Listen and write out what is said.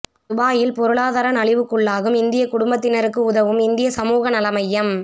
துபாயில் பொருளாதார நலிவுக்குள்ளாகும் இந்தியக் குடும்பத்தினருக்கு உதவும் இந்திய சமூக நல மையம்